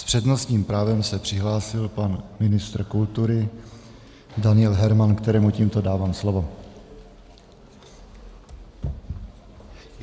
S přednostním právem se přihlásil pan ministr kultury Daniel Herman, kterému tímto dávám slovo.